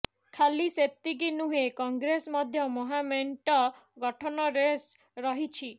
ଖାଲି ସେତିକି ନୁହେଁ କଂଗ୍ରେସ ମଧ୍ୟ ମହାମେଣ୍ଟ ଗଠନ ରେସ୍ରେ ରହିଛି